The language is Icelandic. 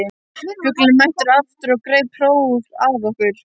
Fuglinn er mættur aftur og gerir hróp að okkur.